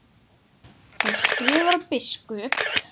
Þar skrifar biskup